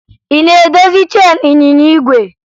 Ị na-edozi cheenu ịnyịnya igwe?